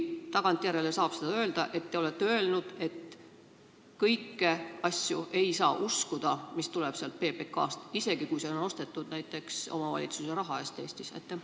Kas tagantjärele saab öelda seda, et te olete välja öelnud, et kõiki asju, mis tulevad sealt PBK-st, ei saa uskuda, isegi kui need on Eestis näiteks omavalitsuse raha eest ostetud?